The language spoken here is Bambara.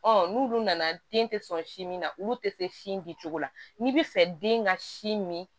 n'ulu nana den tɛ sɔn sin min na olu tɛ se si min di cogo la n'i bɛ fɛ den ka sin min